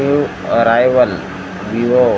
new arrival Vivo --